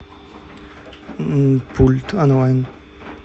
пульт онлайн